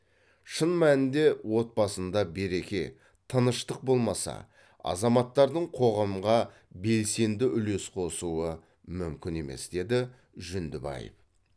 шын мәнінде отбасында береке тыныштық болмаса азаматтардың қоғамға белсенді үлес қосуы мүмкін емес деді жүндібаев